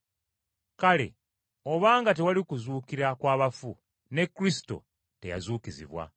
Kale obanga tewali kuzuukira kwa bafu ne Kristo teyazuukizibwa.